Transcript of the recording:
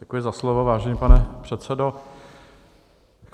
Děkuji za slovo, vážený pane předsedo.